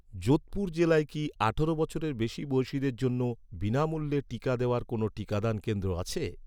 যোধপুর জেলায় কি আঠারো বছরের বেশি বয়সিদের জন্য বিনামূল্যে টিকা দেওয়ার কোনও টিকাদান কেন্দ্র আছে?